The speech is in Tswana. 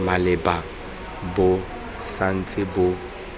maleba bo sa ntse bo